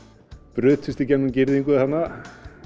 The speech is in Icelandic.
brutust í gegnum girðingu þarna